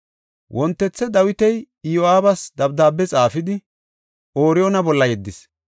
Wontethe Dawiti Iyo7aabas dabdaabe xaafidi, Ooriyoona bolla yeddis.